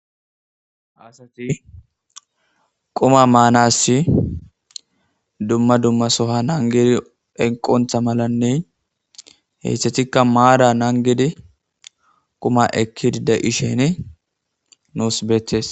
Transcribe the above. Haasati quma maanass dumma dummasoha nangedi enqontha malanne heysththatikka maada naangedi quma ekkidida ishene nuus beetees.